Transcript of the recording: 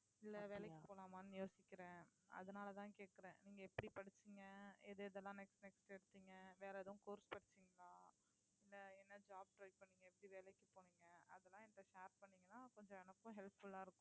இல்லை வேலைக்கு போலாமான்னு யோசிக்கிறேன் அதனாலேதான் கேட்கிறேன் நீங்க எப்படி படிச்சீங்க எது எதெல்லாம் next next எடுத்தீங்க வேற எதுவும் course படிச்சீங்களா இல்லை என்ன job try பண்ணீங்க எப்படி வேலைக்கு போனீங்க அதெல்லாம் என்கிட்ட share பண்ணீங்கன்னா கொஞ்சம் எனக்கும் helpful ஆ இருக்கும்